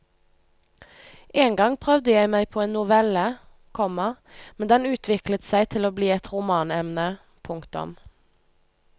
Engang prøvde jeg meg på en novelle, komma men den utviklet seg til bli et romanemne. punktum